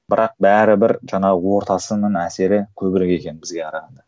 бірақ бәрібір жаңағы ортасының әсері көбірек екен бізге карағанда